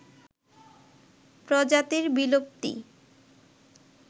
প্রজাতির বিলুপ্তি